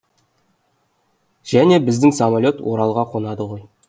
және біздің самолет оралға қонады ғой